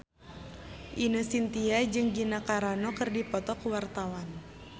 Ine Shintya jeung Gina Carano keur dipoto ku wartawan